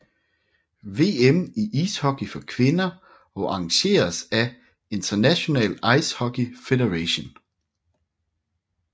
VM i ishockey for kvinder og arrangeredes af International Ice Hockey Federation